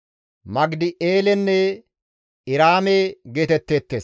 Magidi7eelenne Iraame geetetteettes.